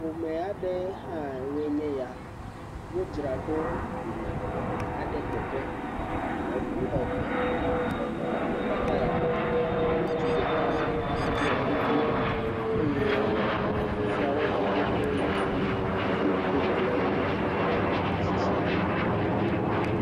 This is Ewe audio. Ƒome aɖewoe nye ya, wodzra ɖo yina wɔna aɖe teƒe, eŋu eve le nɔnɔmetata ya me ŋutsu ɖeka ɖɔ kuku eye susɔawo le to ɖom nu si gblɔm ame tsitsia le.